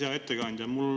Hea ettekandja!